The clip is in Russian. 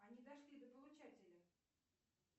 они дошли до получателя